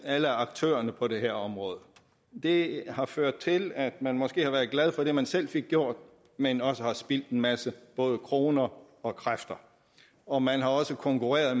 alle aktørerne på det her område det har ført til at man måske har været glad for det man selv fik gjort men også har forspildt en masse både kroner og kræfter og man har også konkurreret